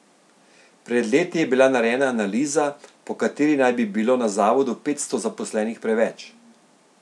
Pred leti je bila narejena analiza, po kateri naj bi bilo na zavodu petsto zaposlenih preveč.